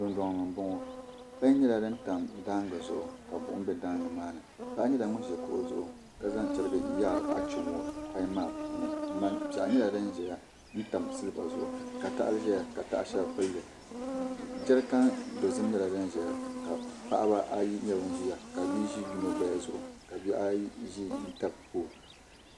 Dundoŋ ni n boŋo pai nyɛla din tam daangi zuɣu ka buɣum bʋ daangi maa ni paɣa nyɛla ŋun ʒi kuɣu zuɣu ka zaŋ chɛriga yaari achomo pai maa puuni piɛɣu nyɛla din ʒɛya n tam silba zuɣu ka tahali ʒɛya ka taha shɛli pilli jɛrikan dozim nyɛla din ʒɛya ka paɣaba ayi nyɛ bin ʒiya ka bia ʒi yino gbaya zuɣu ka bihi ayi ʒi n tabi pool